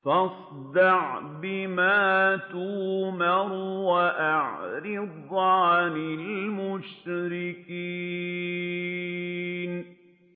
فَاصْدَعْ بِمَا تُؤْمَرُ وَأَعْرِضْ عَنِ الْمُشْرِكِينَ